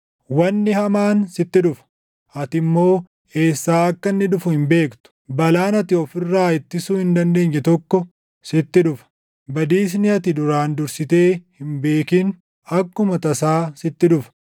Wanni hamaan sitti dhufa; ati immoo eessaa akka inni dhufu hin beektu. Balaan ati of irraa ittisuu hin dandeenye tokko sitti dhufa; badiisni ati duraan dursitee hin beekin akkuma tasaa sitti dhufa.